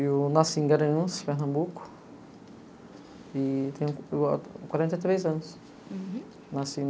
Eu nasci em Garanhuns, Pernambuco e tenho a quarenta e três anos. Uhum. Nasci